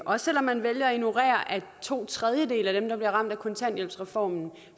også selv om man vælger at ignorere at to tredjedele af dem der bliver ramt af kontanthjælpsreformen